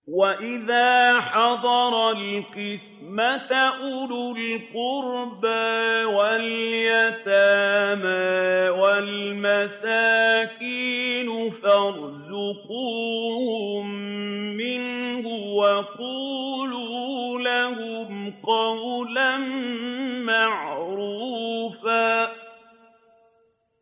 وَإِذَا حَضَرَ الْقِسْمَةَ أُولُو الْقُرْبَىٰ وَالْيَتَامَىٰ وَالْمَسَاكِينُ فَارْزُقُوهُم مِّنْهُ وَقُولُوا لَهُمْ قَوْلًا مَّعْرُوفًا